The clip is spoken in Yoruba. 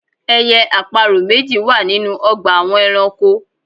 Ẹyẹ àparò méjì wà ninú ọgbà àwọn ẹranko